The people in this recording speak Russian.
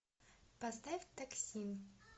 поставь такси